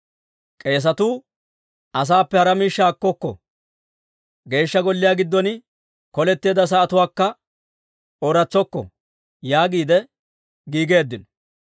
K'eesetuu, «Asaappe hara miishshaa akkokko; Geeshsha Golliyaa giddon koletteedda sa'atuwaakka ooratsokko» yaagiide giigeeddino.